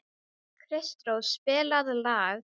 Kristrós, spilaðu lag.